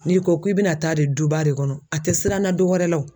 N'i ko k'i bɛna taa de duba de kɔnɔ a tɛ siranna dɔwɛrɛ la wo.